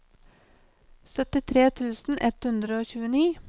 syttitre tusen ett hundre og tjueni